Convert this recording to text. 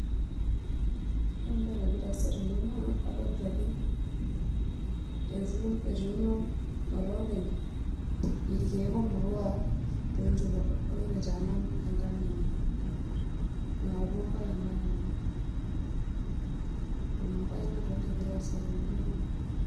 Ore entoki nagira aasa tene naa adolta ajo etuuno olopeny irkiek omaua tonchot poookin aitaman enkang enye, napuo enkamg enye, ninye ebmbae nagira aasa tene.